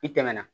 I tɛmɛna